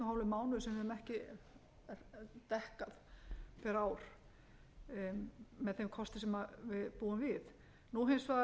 mánuður sem við höfum ekki dekkað pr ár með þeim kosti sem við búum við nú er hins vegar búið að segja upp